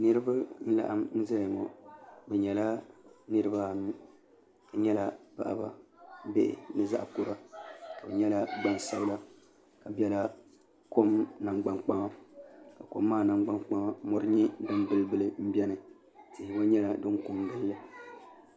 niriba n laɣim zaya ŋɔ be nyɛla niribaanu shɛbi nyɛl paɣ' ba bihi ni zaɣ' kuri shɛbi nyɛla gbansabila ka bɛla kom nangban kpaŋa kom maa nangbani kpaŋa mori nyɛla di bilibili n bɛni kon gili gili